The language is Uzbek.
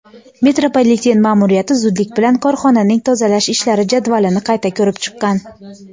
metropoliten ma’muriyati zudlik bilan korxonaning tozalash ishlari jadvalini qayta ko‘rib chiqqan.